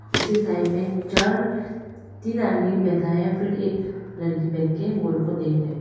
उसी साइड में चार तीन आदमी बैठा है फिर एक लड़की बैठके ओ लोग को देख रहे है।